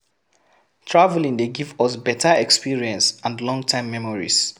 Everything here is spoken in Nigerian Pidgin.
Traveling dey give us better experience and long time memories